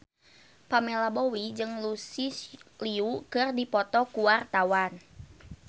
Pamela Bowie jeung Lucy Liu keur dipoto ku wartawan